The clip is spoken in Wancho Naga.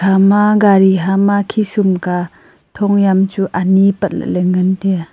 hama gari hama khishum ka thong yam chu ani patla ley ngan tiya.